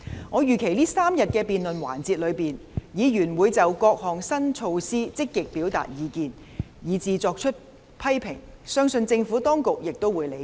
我預期在這3天的辯論環節中，議員會就各項新措施積極表達意見，以至作出批評，相信政府當局亦會理解。